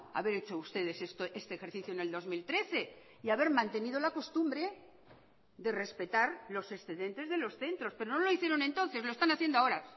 haber hecho ustedes este ejercicio en el dos mil trece y haber mantenido la costumbre de respetar los excedentes de los centros pero no lo hicieron entonces lo están haciendo ahora